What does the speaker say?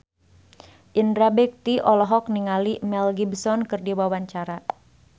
Indra Bekti olohok ningali Mel Gibson keur diwawancara